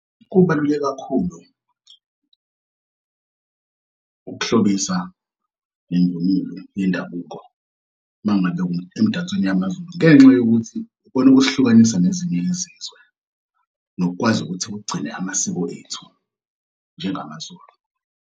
Kubaluleke kakhulu ukuhlobisa ngemvunulo yendabuko mangabe emdansweni yamaZulu ngenxa yokuthi ikona okusihlukanisa nezinye izizwe nokukwazi ukuthi kugcine amasiko ethu njengamaZulu.